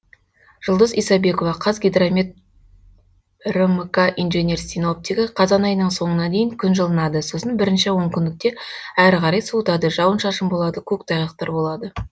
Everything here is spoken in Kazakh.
жұлдыз исабекова қазгидромет рмк инженер синоптигі қазан айының соңына дейін күн жылынады сосын бірінші он күндікте әрі қарай суытады жауын шашын болады көк тайғақтар болады